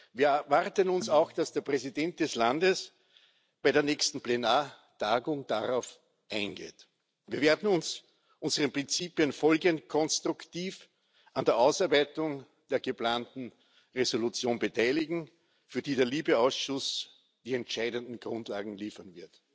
Wir erwarten auch, dass der Präsident des Landes bei der nächsten Plenartagung darauf eingeht. Wir werden uns unseren Prinzipien folgend konstruktiv an der Ausarbeitung der geplanten Entschließung beteiligen, für die der LIBE Ausschuss die entscheidenden Grundlagen liefern wird.